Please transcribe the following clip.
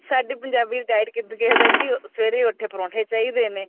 ਸਾਡੀ ਪੰਜਾਬੀ ਦੀ diet ਕਿੱਦਾਂ ਦੀ ਕੇ ਸਵੇਰੇ ਉੱਠੇ ਪਰੋਂਠੇ ਚਾਹੀਦੇ ਨੇ